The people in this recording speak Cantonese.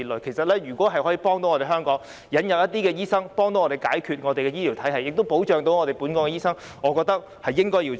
其實，如果能夠引入一些醫生，協助解決香港的醫療體系問題，並同時保障香港本地醫生，我認為是應該要做的。